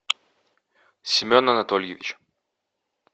семен анатольевич